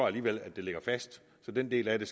alligevel ligger fast så den del af det